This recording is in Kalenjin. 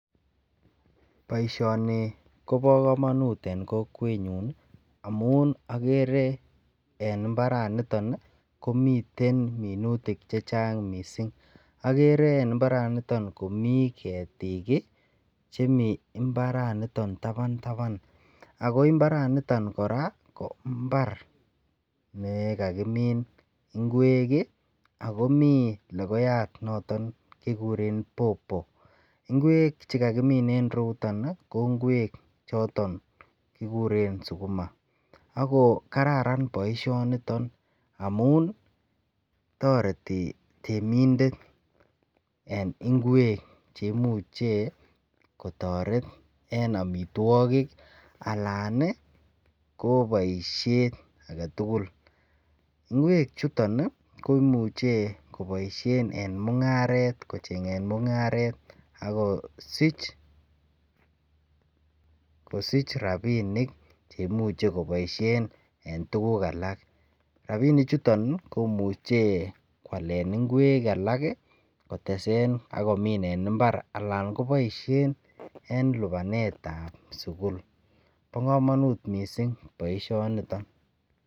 Boisioni kobo kamanut en kokwenyun amun agere en imbaranito komiten minutik che chang mising. Agere en imbaranito komiketiik chemi imbaranito taban taban ago imbaranito kora ko imbar nekakimin ingwek ii ago mi logoyat noton kigiren popo. Ingwek che kakimin en ireyuton, ko ingwek choton kiguren suguma ak kokararan boisionito amun toreti temindet en ingwek che muche kotoret en amitwogik anan ko boisiet agetugul. Ingwe chuton ko imuche koboisien en mungaret, kochengen mungaret agosich rapinik chemuche koboisien en tuguk alak. Rapinichuton komuche kwalen ingwek alak kotesen ak komin en imbar anan koboisien en lubanetab sugul. Bo kamanut mising boisionito.